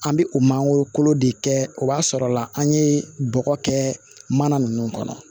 An bɛ o mangoro kolo de kɛ o b'a sɔrɔ la an ye bɔgɔ kɛ mana ninnu kɔnɔ